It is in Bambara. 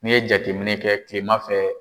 N'i ye jateminɛ kɛ kilema fɛ